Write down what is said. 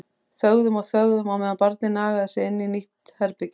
Þögðum og þögðum á meðan barnið nagaði sig inn í nýtt herbergi.